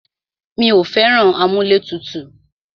Mí ò fẹ́ràn amúlẹ̀tutù.